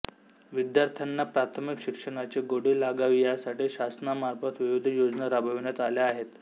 विदयार्थ्याना प्राथमिक शिक्षणाची गोडी लागावी यासाठी शासनामार्फत विविध योजना राबविण्यात आल्या आहेत